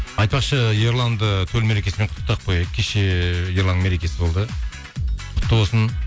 айтпақшы ерланды төл мерекесімен құттықтап қояйық кеше ерланның мерекесі болды құтты болсын